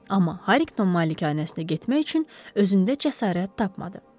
Amma Harriqton malikanəsinə getmək üçün özündə cəsarət tapmadı.